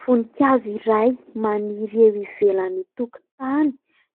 Voninkazo iray maniry eo ivelan'ny tokontany;